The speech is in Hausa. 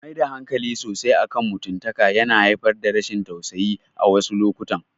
Maida hankali sosai akan mutumtaka yana haifar da rashin tasusayi a wasu lokutan.